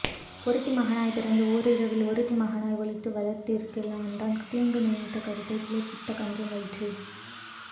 ஒருத்தி மகனாய்ப் பிறந்து ஓரிரவில் ஒருத்தி மகனாய் ஒளித்து வளரத் தரிக்கலனாகித்தான் தீங்கு நினைத்த கருத்தைப் பிழைப்பித்த கஞ்சன் வயிற்றில்